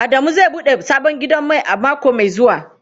Adamu zai bude sabon gidan mai a mako mai zuwa.